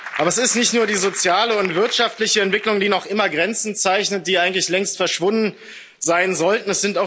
Aber es ist nicht nur die soziale und wirtschaftliche Entwicklung, die noch immer Grenzen zeichnet, die eigentlich längst verschwunden sein sollten.